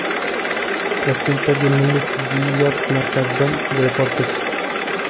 Toshkentdagi milliy tibbiyot markazidan reportaj.